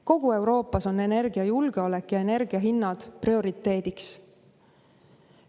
Kogu Euroopas on energiajulgeolek ja energia hinnad prioriteediks.